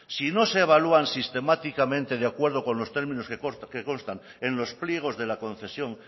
si no se evalúan sistemáticamente de acuerdo con los términos que constan en los pliegos de la concesión